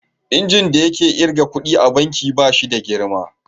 Injin da yake kirga ƙuɗi a banki ba shi da girma.